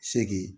Segi